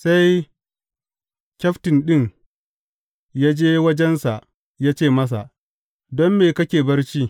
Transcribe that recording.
Sai kyaftin ɗin ya je wajensa ya ce masa, Don me kake barci?